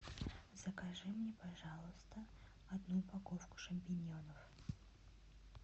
закажи мне пожалуйста одну упаковку шампиньонов